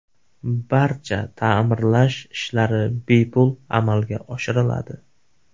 Barcha ta’mirlash ishlari bepul amalga oshiriladi.